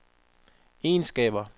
egenskaber